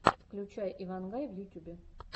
включай ивангай в ютюбе